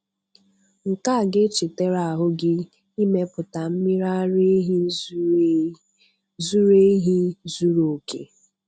Nke a ga-echetara ahụ gị imepụta mmiri ara ehi zuru ehi zuru oke.